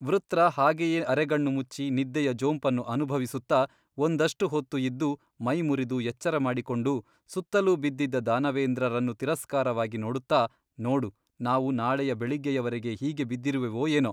ವೃತ್ರ ಹಾಗೆಯೇ ಅರೆಗಣ್ಣು ಮುಚ್ಚಿ ನಿದ್ದೆಯ ಜೋಂಪನ್ನು ಅನುಭವಿಸುತ್ತಾ ಒಂದಷ್ಟು ಹೊತ್ತು ಇದ್ದು ಮೈಮುರಿದು ಎಚ್ಚರಮಾಡಿಕೊಂಡು ಸುತ್ತಲೂ ಬಿದ್ದಿದ್ದ ದಾನವೇಂದ್ರರನ್ನು ತಿರಸ್ಕಾರವಾಗಿ ನೋಡುತ್ತಾ ನೋಡು ನಾವು ನಾಳೆಯ ಬೆಳಿಗ್ಗೆಯವರೆಗೆ ಹೀಗೇ ಬಿದ್ದಿರುವೆವೋ ಏನೋ ?